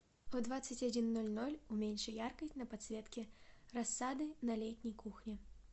в двадцать один ноль ноль уменьши яркость на подсветке рассады на летней кухне